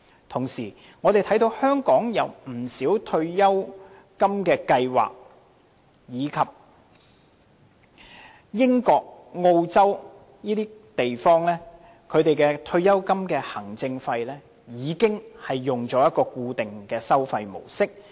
同時，我們看到香港有不少退休金計劃及英國、澳洲等地的退休金行政費已採用固定收費模式。